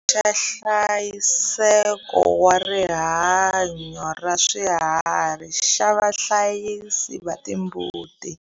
Xa nhlayiseko wa rihanyo ra swiharhi xa vahlayisi va timbuti.